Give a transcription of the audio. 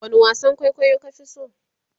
wani wasan kwaikwayo ka Fi so?